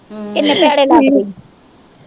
ਕਿਨ੍ਹੇ ਭੈੜੇ ਲੱਗਦੇ ਈ।